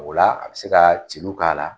Ola a bi se ka celu k'a la